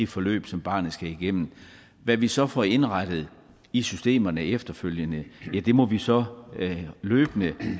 forløb som barnet skal igennem hvad vi så får indrettet i systemerne efterfølgende må vi så løbende